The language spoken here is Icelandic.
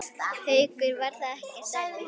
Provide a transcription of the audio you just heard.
Haukur: Var það ekkert erfitt?